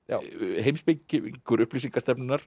heimspekingur